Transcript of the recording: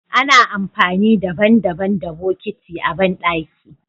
Ana amfani daban- daban da botiki a bandaki.